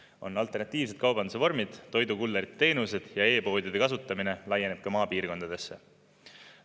On alternatiivsed kaubanduse vormid, toidukulleri teenused ja e-poodide kasutamine laieneb ka maapiirkondadesse.